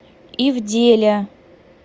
ивделя